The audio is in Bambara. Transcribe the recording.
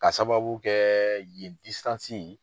Ka sababu kɛ yen